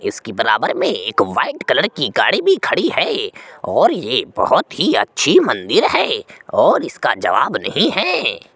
इस की बराबर में एक व्हाइट कलर की गाड़ी भी खड़ी है और ये बहुत ही अच्छी मंदिर है और इसका जवाब नहीं है।